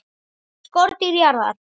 SKORDÝR JARÐAR!